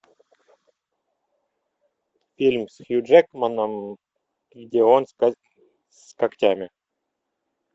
фильм с хью джекманом где он с когтями